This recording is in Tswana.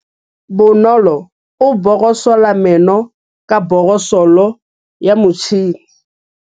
Bonolô o borosola meno ka borosolo ya motšhine.